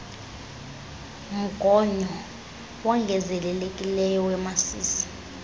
mgonyo wongezelelekileyo wemasisi